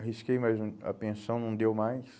Arrisquei, mas o a pensão não deu mais.